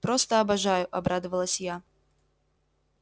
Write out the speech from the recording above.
просто обожаю обрадовалась я